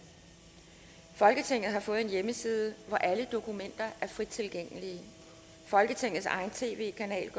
folketinget har fået en hjemmeside hvor alle dokumenter er frit tilgængelige folketingets egen tv kanal